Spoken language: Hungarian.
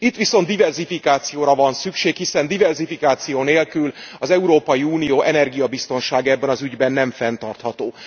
Itt viszont diverzifikációra van szükség, hiszen diverzifikáció nélkül az Európai Unió energiabiztonsága ebben az ügyben nem fenntartható.